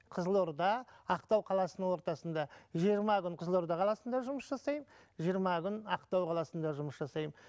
қызылорда ақтау қаласының ортасында жиырма күн қызылорда қаласында жұмыс жасаймын жиырма күн ақтау қаласында жұмыс жасаймын